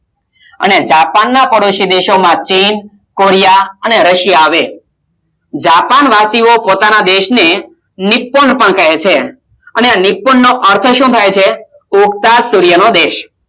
અને જાપાન માં પાડોસી દેશ ના ચીન, કોરિયા, અને એશિયા આવે, જાપાન વાશી ઓ પોતાના દેશ ને નીપણ કહે છે નીપણ નો અર્થ સુ થાય છે ઉગતા સૂર્ય નો દેશ